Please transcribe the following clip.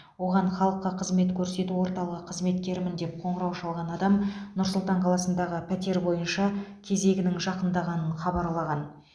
оған халыққа қызмет көрсету орталығы қызметкерімін деп қоңырау шалған адам нұр сұлтан қаласындағы пәтер бойынша кезегінің жақындағанын хабарлаған